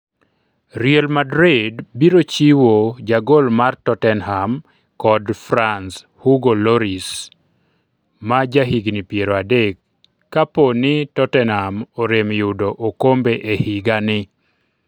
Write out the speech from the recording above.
Real Madrid biro chiwo jagol mar Tottenham kod France Hugo Lloris ma jahigni piero adek kapo ni Tottenham orem yudo okombe e higani